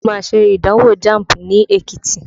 Mo má ṣe ìdánwò Jamb ní Ekiti